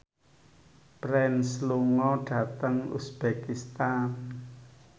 Prince lunga dhateng uzbekistan